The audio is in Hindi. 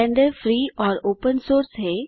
ब्लेंडर फ्री और ओपन सोर्स है